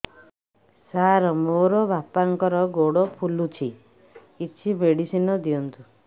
ସାର ମୋର ବାପାଙ୍କର ଗୋଡ ଫୁଲୁଛି କିଛି ମେଡିସିନ ଦିଅନ୍ତୁ